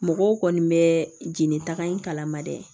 Mɔgɔw kɔni bɛ jeli taga in kala ma dɛ